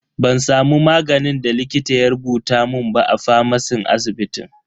Ban samu maganin da likita ya rubuta mun ba a famacin asibitin.